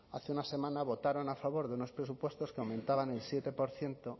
hace una semana votaron a favor de unos presupuestos que aumentaban